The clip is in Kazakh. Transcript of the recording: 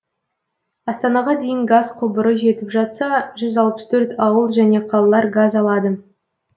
астанаға дейін газ құбыры жетіп жатса жүз алпыс төрт ауыл және қалалар газ алады